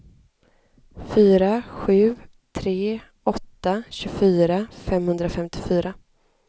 fyra sju tre åtta tjugofyra femhundrafemtiofyra